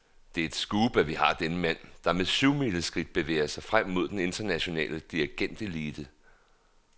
Det er et scoop, at vi har denne mand, der med syvmileskridt bevæger sig frem mod den internationale dirigentelite.